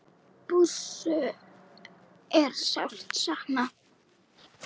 Bússu er sárt saknað.